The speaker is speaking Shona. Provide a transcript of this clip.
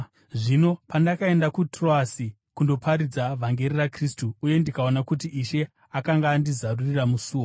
Zvino pandakaenda kuTroasi kundoparidza vhangeri raKristu uye ndikaona kuti Ishe akanga andizarurira musuo,